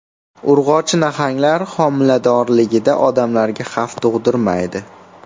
Urg‘ochi nahanglar homiladorligida odamlarga xavf tug‘dirmaydi.